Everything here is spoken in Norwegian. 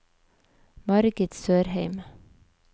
Margit Sørheim